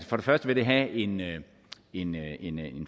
for det første vil have en en